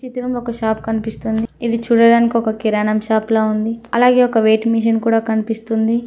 ఇతనం ఒక షాప్ కనిపిస్తుంది ఇది చూడడానికి ఒక కిరాణం షాప్ లా ఉంది అలాగే ఒక వెయిట్ మిషన్ కూడా కనిపిస్తుంది.